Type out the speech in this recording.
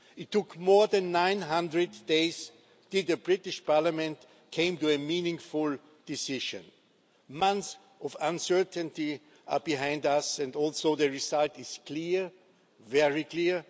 It took more than 900 days for the British Parliament to come to a meaningful decision. Months of uncertainty are behind us, and the result is clear, very clear.